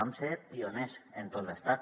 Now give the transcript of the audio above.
vam ser pioners en tot l’estat